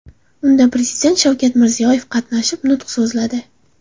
Unda Prezident Shavkat Mirziyoyev qatnashib, nutq so‘zladi.